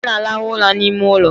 Ana alahu ula n' ime ụlọ